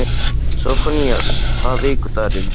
Sófónías, hvaða vikudagur er í dag?